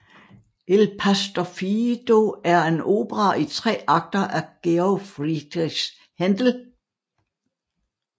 Il pastor fido er en opera i tre akter af Georg Friedrich Händel